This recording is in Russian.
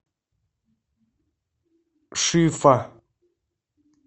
шифа